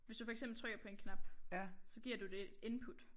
Hvis du for eksempel trykker på en knap så giver du det et input